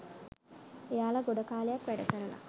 එයාලා ගොඩ කාලයක් වැඩ කරලා